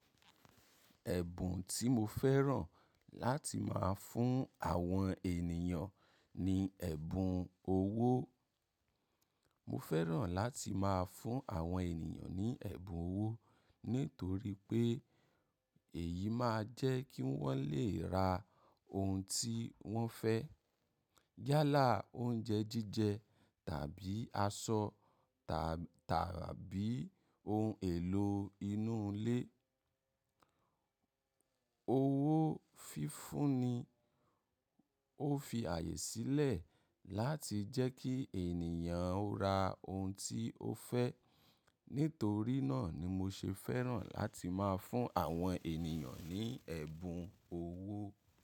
Ẹ̀bùn tí mo fẹ́ràn láti máa fún àwọn ènìyàn ni ẹ̀bùn owó. Mo fẹ́ràn láti máa fún àwọn ènìyàn ní ẹ̀bùn owó nítorí pé èyí máa jẹ́ kí wọ́n lè ra ohun tí wọ́n fẹ́ yálà oúnjẹ jíjẹ tàbí aṣọ ta tàbí ohun èlò inú ilé. Owó fífún ni, ó fi ààyè sílẹ̀ láti jẹ́ kí ènìyàn ó ra ohun tí ó fẹ́. Nítorí náà ni mo ṣe fẹ́ràn láti máa fún àwọn ènìyàn ní ẹ̀bùn owó.